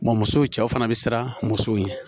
Wa musow cɛw fana bɛ siran musow ye